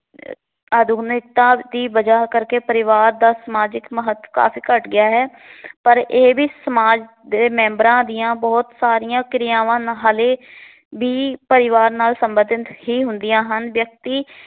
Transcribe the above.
ਆਧੁਨਿਕਤਾਂ ਦੀ ਬਜਾਅ ਕਰਕੇ ਪਰਿਵਾਰ ਦਾ ਸਮਾਜਿਕ ਮਹੱਤ ਕਾਫ਼ੀ ਘੱਟ ਗਿਆ ਹੈ। ਪਰ ਇਹ ਵੀ ਸਮਾਜ ਦੇ ਮੈਂਬਰਾਂ ਦੀਆਂ ਬਹੁਤ ਸਾਰੀਆਂ ਕਿਰਿਆਵਾਂ ਨ ਹਲੇ ਵੀ ਪਰਿਵਾਰ ਨਾਲ ਸਬੰਧਤ ਹੀ ਹੁੰਦੀਆਂ ਹਨ। ਵਿਅਕਤੀ